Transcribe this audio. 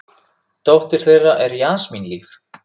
Dóttir þeirra er Jasmín Líf.